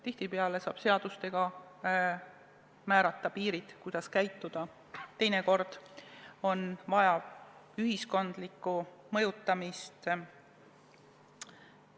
Tihtipeale saab seadustega määrata piirid, kuidas käituda, teinekord on vaja ühiskondlikku mõjutamist.